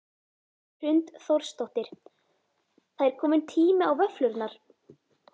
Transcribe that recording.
Hrund Þórsdóttir: Það er komin tími á vöfflurnar?